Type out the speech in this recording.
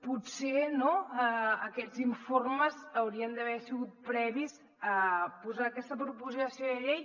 potser aquests informes haurien d’haver sigut previs a posar aquesta proposició de llei